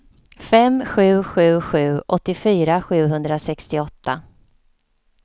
fem sju sju sju åttiofyra sjuhundrasextioåtta